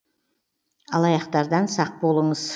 алаяқтардан сақ болыңыз